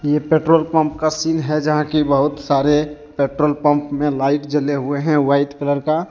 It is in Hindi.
ये पेट्रोल पंप का सीन जहां की बहुत सारे पेट्रोल पंप लाइट जले हुए हैं व्हाइट कलर का।